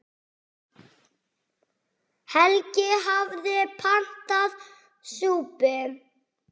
Helgi hafði pantað súpu.